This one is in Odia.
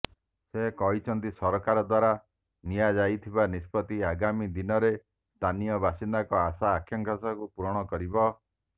ସେ କହିଛନ୍ତି ସରକାର ଦ୍ୱାରା ନିଆଯାଇଥିବା ନିଷ୍ପତ୍ତି ଆଗାମୀ ଦିନରେ ସ୍ଥାନୀୟ ବାସିନ୍ଦାଙ୍କ ଆଶା ଆକାଂକ୍ଷାକୁ ପୂରଣ କରିବ